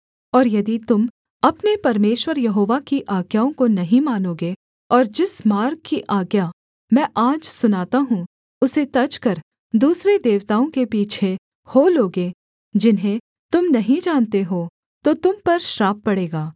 और यदि तुम अपने परमेश्वर यहोवा की आज्ञाओं को नहीं मानोगे और जिस मार्ग की आज्ञा मैं आज सुनाता हूँ उसे तजकर दूसरे देवताओं के पीछे हो लोगे जिन्हें तुम नहीं जानते हो तो तुम पर श्राप पड़ेगा